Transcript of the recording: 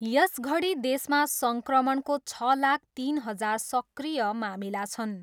यसघडी देशमा सङ्क्रमणको छ लाख तिन हजार सक्रिय मामिला छन्।